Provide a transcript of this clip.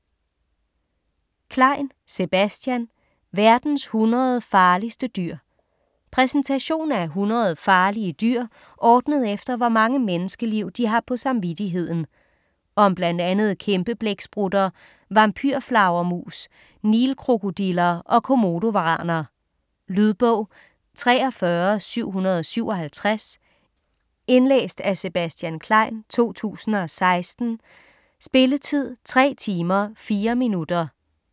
Klein, Sebastian: Verdens 100 farligste dyr Præsentation af 100 farlige dyr, ordnet efter hvor mange menneskeliv de har på samvittigheden. Om bl.a. kæmpeblæksprutter, vampyrflagermus, nilkrokodiller og komodovaraner. Lydbog 43757 Indlæst af Sebastian Klein, 2016. Spilletid: 4 timer, 4 minutter.